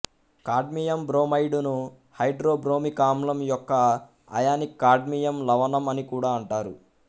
cadmium bromide ను hydrobromic ఆమ్లం యొక్క అయానిక్ కాడ్మియం లవణం అనికూడా అంటారు